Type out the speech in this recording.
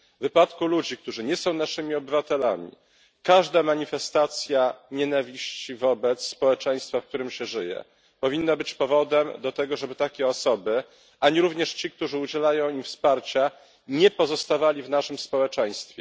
W wypadku ludzi, którzy nie są naszymi obywatelami, każda manifestacja nienawiści wobec społeczeństwa, w którym się żyje, powinna być powodem do tego, żeby takie osoby ani również ci, którzy udzielają im wsparcia nie pozostawali w naszym społeczeństwie.